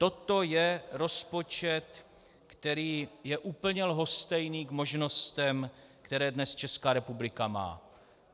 Toto je rozpočet, který je úplně lhostejný k možnostem, které dnes Česká republika má.